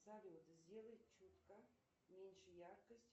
салют сделай чутка меньше яркость